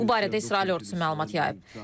Bu barədə İsrail ordusu məlumat yayıb.